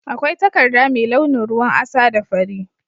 Akwai takarda mai launin ruwan asa da fari.